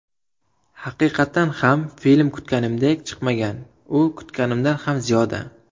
Haqiqatan ham film kutganimdek chiqmagan u kutganimdan ham ziyoda.